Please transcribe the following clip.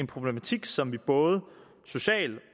problematik som vi både socialt